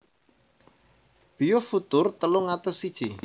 Biofutur telung atus siji